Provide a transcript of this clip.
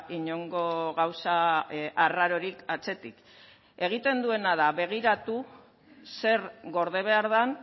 inongo gauza arrarorik atzetik egiten duena da begiratu zer gorde behar den